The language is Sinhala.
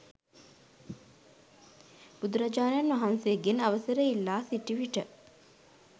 බුදුරජාණන් වහන්සේගෙන් අවසර ඉල්ලා සිටි විට